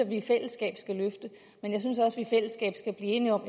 vi i fællesskab skal blive enige om